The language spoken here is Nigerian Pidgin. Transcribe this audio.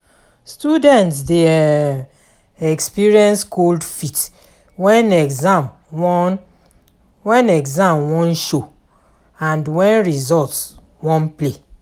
Students de um experience cold feet when exam won exam won show and when results won play